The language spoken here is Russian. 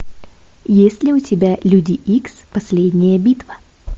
есть ли у тебя люди икс последняя битва